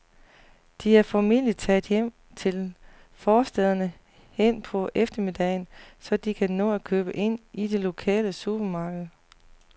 De er formentlig taget hjem til forstæderne hen på eftermiddagen, så de kan nå at købe ind i det lokale supermarked.